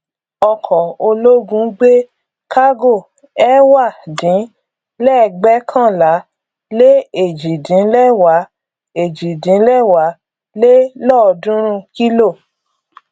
ọkọ ológun gbé kágò ẹwà dín lẹgbẹkànlá lé èjì dín lẹwà èjì dín lẹwà lé lọọdúnrún kílò